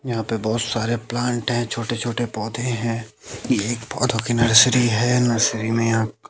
यहां पे बहोत सारे प्लांट है। छोटे छोटे पौधे हैं ये एक पौधों की नर्सरी है नर्सरी में यहां--